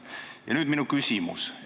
Ja nüüd minu küsimus.